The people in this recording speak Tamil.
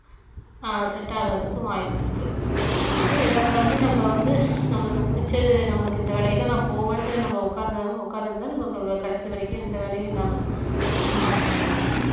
ஆஹ் set ஆகறதுக்கும் வாய்ப்பு இருக்கு அதனால எதா இருந்தாலுமே நம்ம வந்து நம்மளுக்கு புடிச்ச நம்மளுக்கு இந்த வேலையதான் நான் போவேன்னுட்டு நம்ம உட்கார்ந்~ உட்கார்ந்திருந்தா நமக்கு கடைசி வரைக்கும் எந்த வேலையும் இல்லாம சும்மா இருக்க வேண்டியது தான்